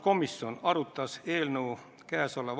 Taavi Rõivas, palun!